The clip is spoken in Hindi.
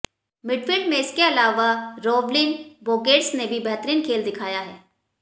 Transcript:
मिडफील्ड में इसके अलावा रोवलिन बोर्गेस ने भी बेहतरीन खेल दिखाया है